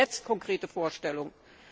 Wir brauchen jetzt konkrete Vorstellungen.